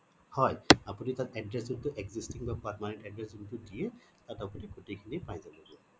হয় আপুনি তাত address যোনটো existing বা permanent address যোনটো দিয়ে তাত আপুনি গোটেই খিনি পাই যাবগে